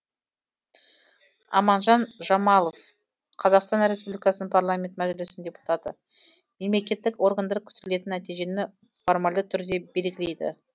аманжан жамалов қазақстан республикасы парламенті мәжілісінің депутаты мемлекеттік органдар күтілетін нәтижені формальды түрде белгілейді